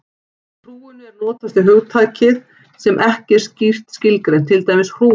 Í hrúgunni er notast við hugtak sem ekki er skýrt skilgreint, til dæmis hrúgu.